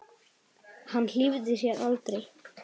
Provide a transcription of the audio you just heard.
Hann hlífði sér aldrei.